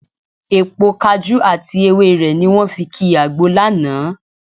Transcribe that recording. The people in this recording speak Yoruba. Èpo kajú àti ewé rẹ̀ ni wọ́n fi ki àgbo lánàá